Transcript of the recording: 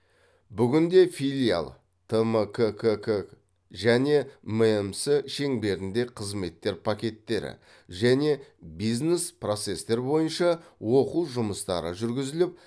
бүгінде филиал тмккк және мэмс шеңберінде қызметтер пакеттері және бизнес процестер бойынша оқу жұмыстары жүргізіліп